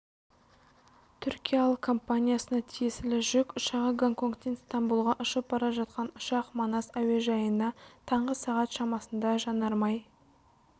түркиялық компаниясына тиесілі жүк ұшағы гонконгтен стамбулға ұшып бара жатқан ұшақ манас әуежайынатаңғы сағат шамасында жанармай